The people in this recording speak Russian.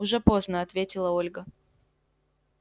уже поздно ответила ольга